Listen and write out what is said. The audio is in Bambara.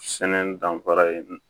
Sɛnɛ danfara ye